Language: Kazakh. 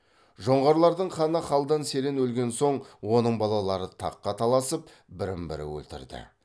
жоңғарлардың ханы қалдан серен өлген соң оның балалары таққа таласып бірін бірі өлтірді